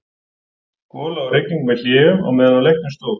Gola og rigning með hléum á meðan á leiknum stóð.